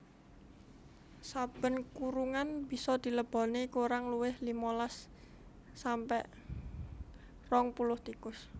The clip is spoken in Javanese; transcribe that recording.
Saben kurungan bisa dileboni kurang luwih limolas sampe rong puluh tikus